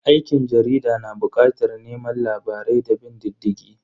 Aikin jarida na bukatar neman labarai da bin diddigi